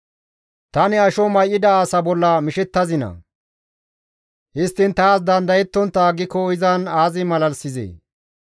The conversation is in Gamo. «Tani asho may7ida asa bolla mishettazinaa? Histtiin taas dandayontta aggiko izan aazi malalisizee?